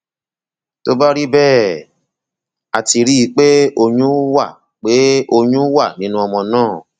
tó bá rí bẹẹ a ti rí i pé oyún wà pé oyún wà nínú ọmọ náà